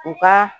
U ka